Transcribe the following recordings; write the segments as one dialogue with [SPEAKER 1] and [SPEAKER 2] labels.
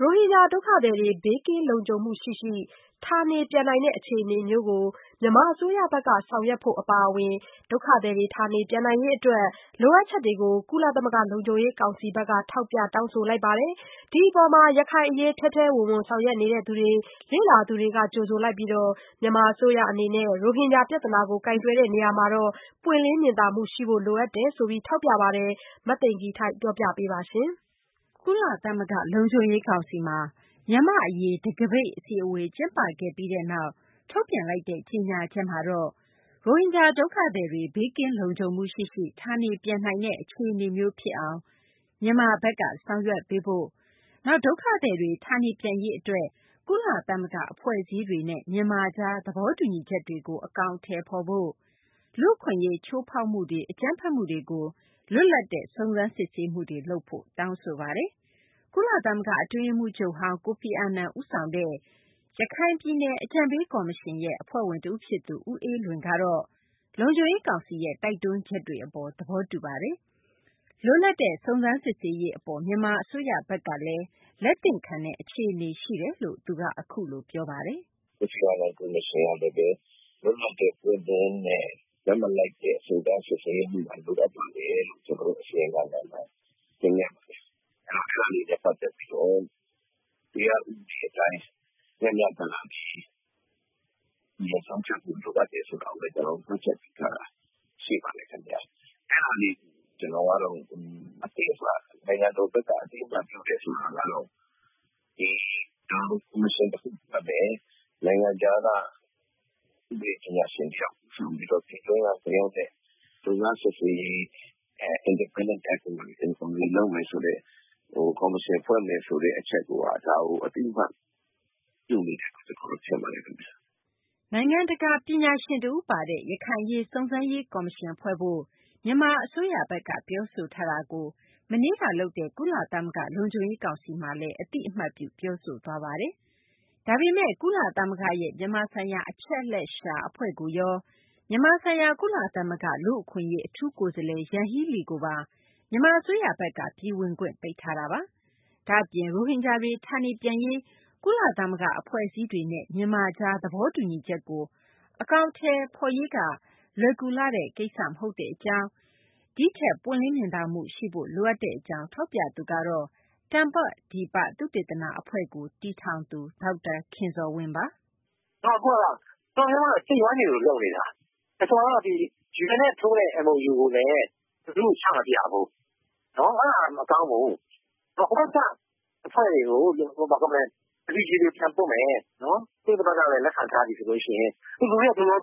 [SPEAKER 1] ရိုဟင်ဂျာ ဒုက္ခသည်တွေ ဘေးကင်းလုံခြုံမှုရှိရှိ ဌာနေပြန်နိုင်တဲ့ အခြေအနေမျိုးကို မြန်မာ အစိုးရဘက်က ဆောင်ရွက်ဖို့ အပါအဝင် ဒုက္ခသည်တွေ ဌာနေပြန်နိုင်ရေး အတွက် လိုအပ်ချက်တွေကို ကုလသမဂ္ဂ လုံခြုံရေးကောင်စီဘက်က ထောက်ပြတောင်းဆိုလိုက်ပါတယ်။ ဒီအပေါ် ရခိုင်အရေး ထဲထဲဝင်ဝင် ဆောင်ရွက်နေသူတွေ လေ့လာသူတွေက ကြိုဆိုပြီး မြန်မာ အစိုးရ အနေနဲ့ ရိုဟင်ဂျာ ပြဿနာကို ကိုင်တွယ်တဲ့ နေရာမှာ ပွင့်လင်းမြင်သာမှု ရှိဖို့ လိုအပ်တယ်လို့လည်း ထောက်ပြပါတယ်။ မသိင်္ဂ ီထိုက် စုစည်းတင်ပြထားပါတယ်။ ကုလသဂ္ဂ လုံခြုံရေးကောင်စီမှာ မြန်မာ့အရေး တံခါးပိတ် အစည်းအဝေး ကျင်းပခဲ့ပြီးနောက် ထုတ်ပြန်လိုက်တဲ့ ကြေညာချက်မှာတော့ ရိုဟင်ဂျာ ဒုက္ခသည်တွေ ဘေးကင်းလုံခြုံမှု ရှိရှိ ဌာနေပြန်နိုင်တဲ့ အခြေအနေမျိုး ဖြစ်လာအောင် မြန်မာဘက်က ဆောင်ရွက်ပေးဖို့၊ နောက် ဒုက္ခသည်တွေ ဌာနေပြန်ရေး အတွက် ကုလသမဂ္ဂ အဖွဲ့အစည်းတွေနဲ့ မြန်မာကြား သဘောတူညီချက်တွေကို အကောင်အထည်ဖော်ဖို့၊ လူ့အခွင့်အရေး ချိုးဖောက်မှုတွေ၊ အကြမ်းဖက်မှုတွေကို လွတ်လပ်တဲ့ စုံစမ်းစစ်ဆေးမှုတွေ လုပ်ဖို့ တောင်းဆိုထားပါတယ်။ ကုလသမဂ္ဂ အတွင်းရေးမှူးချုပ်ဟောင်း Kofi Annan ဦးဆောင်ခဲ့တဲ့ ရခိုင်ပြည်နယ် အကြံပေးကော်မရှင်ရဲ့အဖွဲ့ဝင်တဦးဖြစ်သူ ဦးအေးလွင်ကတော့ လုံခြုံရေး ကောင်စီရဲ့ တိုက်တွန်းချက်တွေကို သဘောတူပါတယ်။ လွတ်လပ်တဲ့ စုံစမ်းစစ်ဆေးရေး အပေါ် မြန်မာ အစိုးရဘက်ကလည်း လက်သင့်ခံတဲ့ အခြေအနေ ရှိတယ်လို့လည်း သူက အခုလို ပြောပါတယ်။
[SPEAKER 2] " Kofi Annanကေ်ာမရှင်ကလည်း လွတ်လပ်တဲ့ ပွင့်လင်းတဲ့ ဘက်မလိုက်တဲ့ စုံစမ်းစစ်ဆေးရေးတွေလုပ်ဖို့ လိုအပ်ပါတယ်လို့ ကျနော်တို့ အစီရင်ခံစာမှာ တင်ပြပါတယ်။ အဲဒါတွေနဲ့ ပတ်သက်ပြီးတော့ တရားဥပဒေအတိုင်း မျှမျှတတနဲ့ ဆုံးဖြတ်ဖို့လိုအပ်တယ်ဆိုတာကိုလည်း ကျနော်တို့ မှတ်ချက်ပြုထားတာရှိပါတယ်။ အဲဒါတွေကို နိုင်ငံတော်ဘက်က အသိအမှတ်ပြုတယ်ဆိုတာကတော့ ဒီကော်မရှင်တခုဖွဲ့မယ်၊ နိုင်ငံခြားက ဥပဒေပညာရှင်တယောက်ဦးဆောင်ပြီးတော့ ပြည်တွင်းကလူတွေနဲ့ လုပ်ငန်းစစ်ဆေးရေး Independent Commitee လုပ်မယ်ဆိုတဲ့ ကော်မရှင်ဖွဲ့မယ်ဆိုတဲ့အချက်ကိုက ဒါကို အသိအမှတ်ပြုနေတယ်လို့ ကျနော်တို့ထင်ပါတယ်ခင်ဗျ
[SPEAKER 1] ။" နိုင်ငံတကာ ပညာရှင် တဦးပါတဲ့ ရခိုင်အရေး စုံစမ်းရေး ကော်မရှင်ဖွဲ့ဖို့ မြန်မာ အစိုးရဘက်က ပြောဆိုထားတာကို မနေ့က လုပ်တဲ့ ကုလသမဂ္ဂ လုံခြုံရေး ကောင်စီမှာလည်း အသိအမှတ်ပြု ပြောဆိုသွားပါတယ်။ ဒါပေမယ့် ကုလသမဂ္ဂရဲ့ မြန်မာဆိုင်ရာ အချက်အလက်ရှာ အဖွဲ့ကိုရော၊ မြန်မာဆိုင်ရာ ကုလလူ့အခွင့်အရေး အထူးကိုယ်စားလှယ် ယန်ဟီးလီကိုပါ မြန်မာ အစိုးရဘက်က ပြည်ဝင်ခွင့် ပိတ်ထားတာပါ။ ဒါ့အပြင် ရိုဟင်ဂျာတွေ ဌာနေပြန်ရေး ကုလသမဂ္ဂ အဖွဲ့အစည်းတွေနဲ့ မြန်မာကြား သဘောတူညီချက်ကို အကောင်အထည် ဖော်ရေးက လွယ်ကူလှတဲ့ ကိစ္စ မဟုတ်တဲ့ အကြောင်း ဒီထက် ပွင့်လင်းမြင်သာမှု ရှိဖို့လိုအပ်တဲ့ အကြောင်း ထောက်ပြသူကတော့ တမ္ပဒီပ သုတေသနအဖွဲ့ တည်ထောင်သူ ဒေါက်တာ ခင်ဇော်ဝင်းပါ
[SPEAKER 3] ။ "အမှန်ကတော့ UN နဲ့ ထိုးတဲ့ MOU ကိုလည်း ဘယ်သူကိုမှချမပြဘူး အဲဒါမကောင်းဘူး။ ဟိုဘက်က Refugee တွေကိုပြန်ပို့မယ် ကုလသမဂ္ဂကလည်း လက်ခံထားပြီဆိုရင် ဒီအတိုင်းဖြစ်မယ်။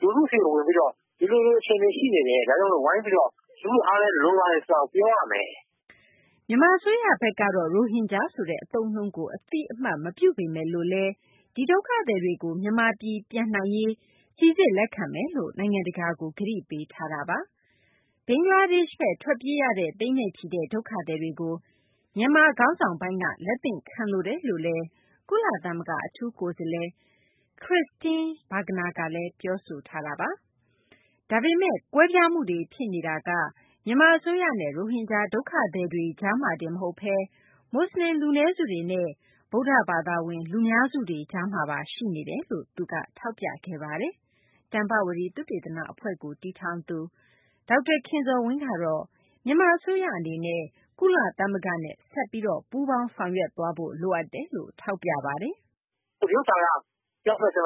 [SPEAKER 3] လူထုဆီကို ဝင်ပြီးတော့ ဒီလိုအခြေအနေရှိတယ် ဒါကြောင့် ဝိုင်းပြီးတော့ လူထုအားလိုတယ်လို့ ပြောရမယ်။" မြန်မာ အစိုးရ
[SPEAKER 1] ဘက်ကတော့ ရိုဟင်ဂျာဆိုတဲ့ အသုံးအနှုန်းကို အသိအမှတ်မပြုပေမယ်လို့လည်း ဒီဒုက္ခသည်တွေကို မြန်မာပြည် ပြန်နိုင်ရေး စိစစ်လက်ခံမယ်လို့ နိုင်ငံတကာကို ကတိပေးထားတာပါ။ ဘင်္ဂလားဒေရှ့်ဘက် ထွက်ပြေးရတဲ့ သိန်းနဲ့ချီတဲ့ ဒုက္ခသည်တွေကို မြန်မာ ခေါင်းဆောင်ပိုင်းက လက်သင့်ခံလိုတယ်လို့ ကုလသမဂ္ဂ အထူးကိုယ်စားလှယ် Christine Schraner Burgener ကလည်း ပြောဆိုခဲ့ပါတယ်။ ဒါပေမယ့် ကွဲပြားမှုတွေ ဖြစ်နေတာက မြန်မာ အစိုးရနဲ့ ရိုဟင်ဂျာ ဒုက္ခသည်တွေကြားမှာတင် မဟုတ်ဘဲ မူဆလင် လူနည်းစုတွေနဲ့ ဗုဒ္ဓဘာသာဝင် လူများစုတွေ ကြားမှာပါ ရှိနေတာလို့ သူက ထောက်ပြခဲ့တာပါ။ တမ္ပဝတီ သုတေသန အဖွဲ့ကို တည်ထောင်သူ ဒေါက်တာ ခင်ဇော်ဝင်းကတော့ မြန်မာ အစိုးရ အနေနဲ့ ကုလသမဂ္ဂနဲ့ ဆက်လက်ပြီး ပူးပေါင်းဆောင်ရွက်သွားဖို့ လိုအပ်တယ်လို့ ထောက်ပြပါတယ်
[SPEAKER 3] ။ "ဒီဟာက ပြောမယ်ဆို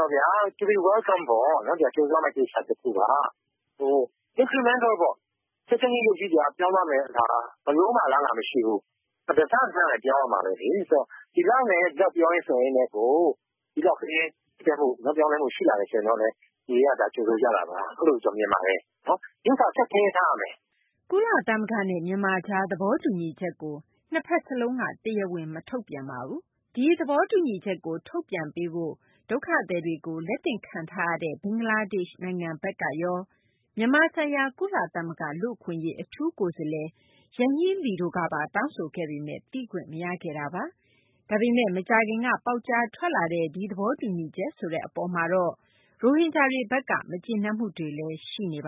[SPEAKER 3] ရင် Welcome ပေါ့။ ကြိုဆိုရမယ့်ကိစ္စပါ။ ချက်ချင်းကြီး ပြောင်းသွားမယ် ဆိုတာက ဘယ်လိုမှအလားအလာမရှိဘူး။ တစတစနဲ့ ပြောင်းရမယ်။ ဒီလောက်နဲ့ ပြောင်းလဲလာတာ ရှိလာတယ်ဆိုတာကလည်း လူတွေက ကြိုဆိုကြတာပါ။ အဲလိုကျနော်မြင်ပါတယ်။ အဓိက ဆက်ပြီး ထိန်းထားရပါမယ်
[SPEAKER 1] ။" ကုလသမဂ္ဂနဲ့ မြန်မာကြား သဘောတူညီချက်ကို နှစ်ဘက်စလုံးက တရားဝင် မထုတ်ပြန်ပါဘူး။ ဒီသဘောတူညီချက်ကို ထုတ်ပြန်ပေးဖို့ ဒုက္ခသည်တွေကို လက်သင့်ခံထားရတဲ့ ဘင်္ဂလားဒေရှ့် နိုင်ငံဘက်ကရော မြန်မာဆိုင်ရာ ကုလသမဂ္ဂ လူ့အခွင့်အရေး အထူးကိုယ်စားလှယ် ယန်ဟီလီတို့ပါ သိခွင့်မရခဲ့တာပါ။ ဒါပေမယ့် မကြာခင်က ပေါက်ကြားထွက်လာတဲ့ ဒီသဘောတူညီချက် ဆိုတဲ့ အပေါ်မှာတော့ ရိုဟင်ဂျာတွေဘက်က မကျေနပ်မှုတွေလည်း ရှိနေတ